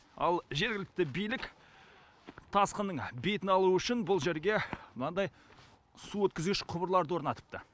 ал жергілікті билік тасқынның бетін алу үшін бұл жерге мынандай су өткізгіш құбырларды орнатыпты